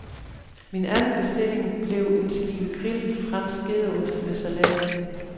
Min anden bestilling blev en skive grillet, fransk gedeost med salat.